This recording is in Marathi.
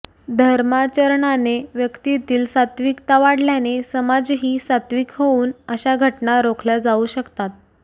धर्माचरणाने व्यक्तीतील सात्त्विकता वाढल्याने समाजही सात्त्विक होऊन अशा घटना रोखल्या जाऊ शकतात